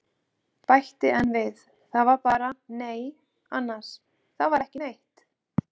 Bæti enn við, það var bara- nei annars, það var ekki neitt.